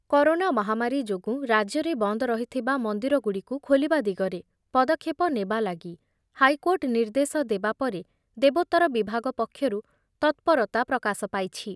Corona ମହାମାରୀ ଯୋଗୁଁ ରାଜ୍ୟରେ ବନ୍ଦ ରହିଥିବା ମନ୍ଦିର ଗୁଡ଼ିକୁ ଖୋଲିବା ଦିଗରେ ପଦକ୍ଷେପ ନେବାଲାଗି ହାଇକୋର୍ଟ ନିର୍ଦ୍ଦେଶ ଦେବା ପରେ ଦେବୋତ୍ତର ବିଭାଗ ପକ୍ଷରୁ ତତ୍ପରତା ପ୍ରକାଶ ପାଇଛି।